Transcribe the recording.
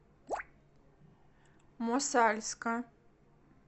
мосальска